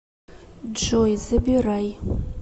джой забирай